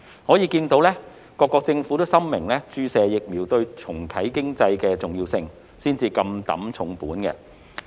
可見各國政府深明注射疫苗對重啟經濟的重要性，才會如此不惜工本。